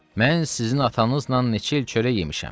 Mən sizin atanızla neçə il çörək yemişəm.